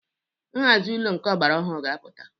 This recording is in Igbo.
Nhazi ụlọ nke ọgbara ọhụrụ ga-apụta.